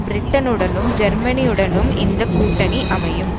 பிரிட்டனுடனும் ஜேர்மனியுடனும் இந்த கூட்டணி அமையும்